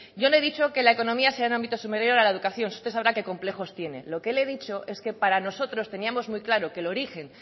yo no he dicho que la economía sea un ámbito superior a la educación usted sabrá qué complejos tiene lo que le he dicho es que para nosotros teníamos muy claro que el origen